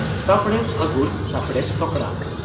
᱾ᱥᱟᱯᱲᱮᱫ ᱯᱷᱟᱹᱜᱩᱱ ᱥᱟᱯᱲᱮᱛ ᱥᱚᱠᱲᱟ